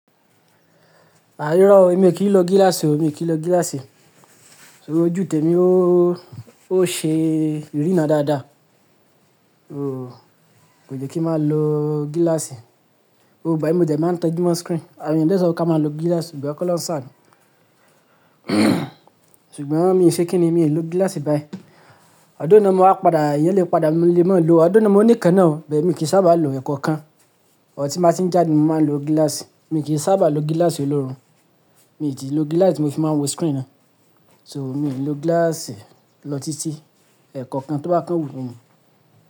À irọ̀ o, èmi kì í lo gíláàsì o, mi kì í lo gíláàsì. Tori ojú tèmi ó, ó ṣe ìrírí ran dáadáa. Ooo, kò yẹ kí n máa lo gíláàsì. Gbogbo igbami mo dẹ́ máa ń tẹ jumọ̀ screen. Àwọn èèyàn dẹ sọ ká máa lo gíláàsì, igbayen kọlọun saanu ṣùgbọ́n mi ò ṣe kíni, mi ò lo gíláàsì báyìí. Although náà mo máa padà, èèyàn lé padà mo lè máa lo, although náà mo ní ikán ná o, bẹ́ẹ̀ mi kì í sábà lo ẹ̀ẹ̀kọ̀kan. But ti má ti ń jáde, mo máa ń lo gíláàsì. Mi kì í sábà lo gíláàsì olóòórùn. Mi tíì lo gíláàsì ti fi máa n wo screen ná. So mi ò lè lo gíláàsì lọ títí ẹ̀ẹ̀kọ̀kan tó bá kán wu mí.